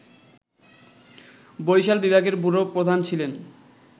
বরিশাল বিভাগের ব্যুরো প্রধান ছিলেন